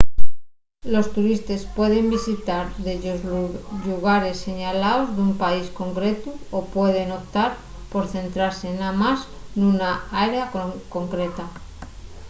los turistes pueden visitar dellos llugares señalaos d’un país concretu o pueden optar por centrase namás nuna área concreta